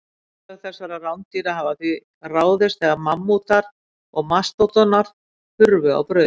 Örlög þessara rándýra hafa því ráðist þegar mammútar og mastódonar hurfu á braut.